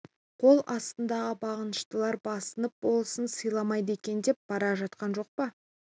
қол астындағы бағыныштылары басынып болысын сыйламайды екен деп бара жатқан жоқ па